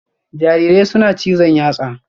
Jarirai suna son cizon yatsa